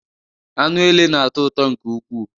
Anụ ele na-atọ ụtọ nke ukwu